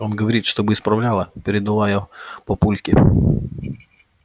он говорит чтобы исправляла передала я папульке